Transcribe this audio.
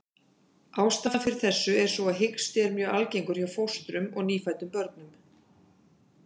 Ástæðan fyrir þessu er sú að hiksti er mjög algengur hjá fóstrum og nýfæddum börnum.